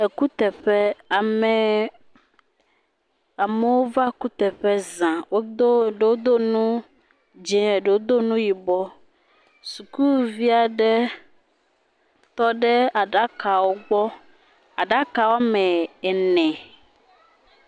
Ekuteƒe, ame amewo va ekuteƒe za, wodo eɖewo do nu yibɔ, sukuvi aɖewo tɔ ɖe aɖakawo gbɔ, aɖaka woame ene.